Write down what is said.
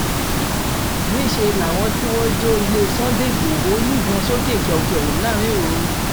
níṣẹ́ làwọn tí wọ́n jọ ilé sunday igbodò ń yìnbọn sókè kẹ̀ù kẹ̀ù láàrin òru